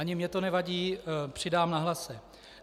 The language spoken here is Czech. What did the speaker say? Ani mně to nevadí, přidám na hlase.